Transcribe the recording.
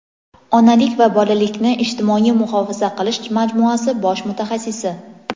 onalik va bolalikni ijtimoiy muhofaza qilish majmuasi bosh mutaxassisi;.